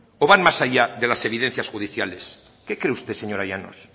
o van más allá de las evidencias judiciales qué cree usted señora llanos